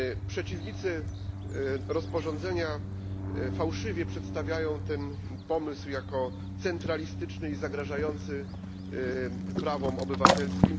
Przeciwnicy rozporządzenia fałszywie przedstawiają ten pomysł jako centralistyczny i zagrażający prawom obywatelskim.